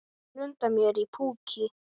Það blundar í mér púki.